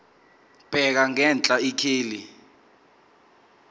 bheka ngenhla ikheli